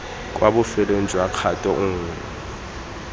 kwa bofelong jwa kgato nngwe